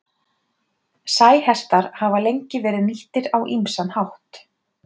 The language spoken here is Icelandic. Sæhestar hafa lengi verið nýttir á ýmsan hátt.